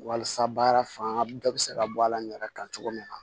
Walasa baara fan dɔ bɛ se ka bɔ a la n yɛrɛ kan cogo min na